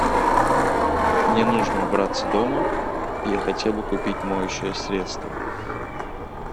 мне нужно убраться дома я хотел бы купить моющее средство